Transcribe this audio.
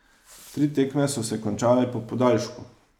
Tri tekme so se končale po podaljšku.